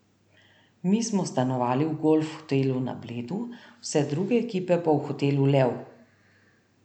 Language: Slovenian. Mi smo stanovali v Golf hotelu na Bledu, vse druge ekipe pa v hotelu Lev.